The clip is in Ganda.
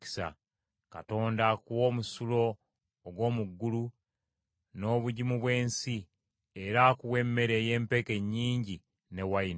Katonda akuwe omusulo ogw’omu ggulu, n’obugimu bw’ensi, era akuwe emmere ey’empeke nnyingi n’envinnyo.